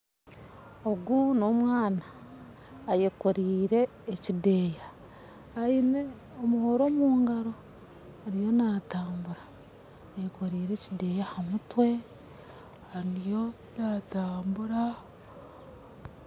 Ogu na omwana ayekorire ekideya aine omuhoro omu ngaro ariyo natambura ayekorire ekideya aha mutwe ariyo natambura